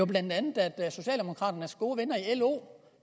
blandt andet socialdemokraternes gode venner i lo